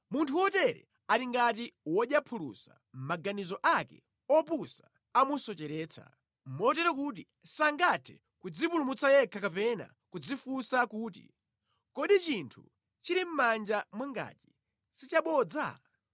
Munthu wotere ali ngati wodya phulusa, maganizo ake opusa amusocheretsa; motero kuti sangathe kudzipulumutsa yekha kapena kudzifunsa kuti, “Kodi chinthu chili mʼmanja mwangachi si chabodza?”